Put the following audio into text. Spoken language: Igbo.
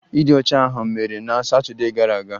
Ịdị ọcha ahụ mere na Satọdee gara aga